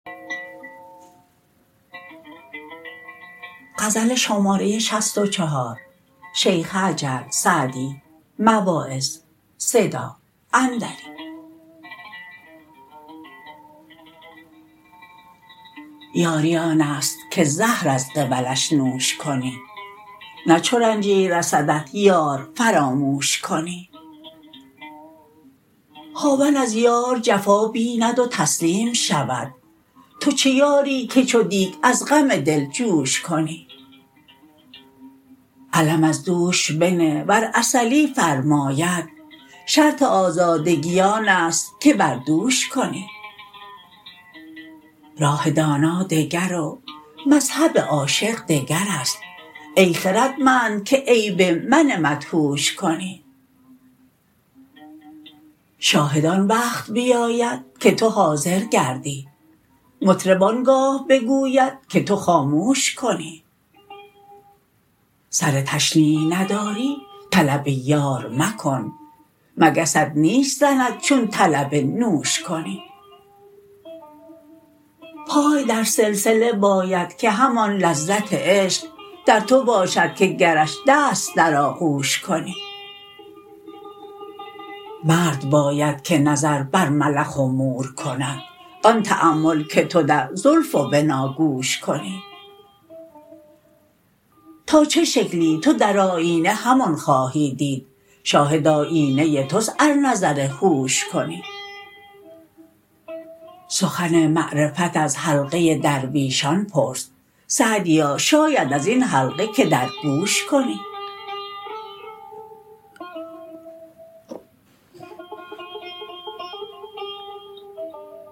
یاری آن است که زهر از قبلش نوش کنی نه چو رنجی رسدت یار فراموش کنی هاون از یار جفا بیند و تسلیم شود تو چه یاری که چو دیگ از غم دل جوش کنی علم از دوش بنه ور عسلی فرماید شرط آزادگی آن است که بر دوش کنی راه دانا دگر و مذهب عاشق دگر است ای خردمند که عیب من مدهوش کنی شاهد آن وقت بیاید که تو حاضر گردی مطرب آن گاه بگوید که تو خاموش کنی سر تشنیع نداری طلب یار مکن مگست نیش زند چون طلب نوش کنی پای در سلسله باید که همان لذت عشق در تو باشد که گرش دست در آغوش کنی مرد باید که نظر بر ملخ و مور کند آن تأمل که تو در زلف و بناگوش کنی تا چه شکلی تو در آیینه همان خواهی دید شاهد آیینه توست ار نظر هوش کنی سخن معرفت از حلقه درویشان پرس سعدیا شاید از این حلقه که در گوش کنی